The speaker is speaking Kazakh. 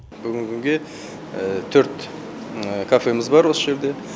бүгінгі күнге төрт кафеміз бар осы жерде